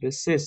besses.